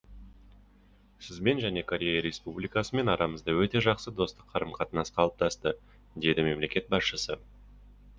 сізбен және корея республикасымен арамызда өте жақсы достық қарым қатынас қалыптасты деді мемлекет басшысы